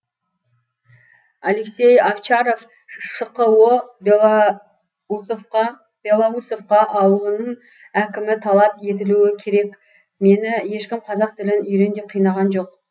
алексей овчаров шқо белоусовка ауылының әкіміталап етілуі керекмені ешкім қазақ тілін үйрен деп қинаған жоқ